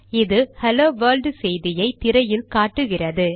இது hello world செய்தியை திரையில் காட்டுகிறது